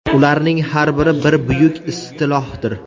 Ularning har biri bir buyuk istilohdir.